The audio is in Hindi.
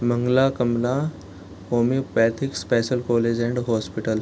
Mangla Kamala homoeopathic special college and hospital .